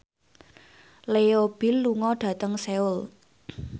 Leo Bill lunga dhateng Seoul